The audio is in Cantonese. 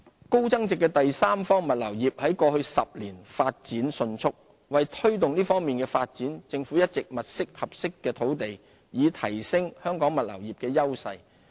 高增值的第三方物流業在過去10年發展迅速。為推動這方面的發展，政府一直物色合適的土地，以提升香港物流業的優勢。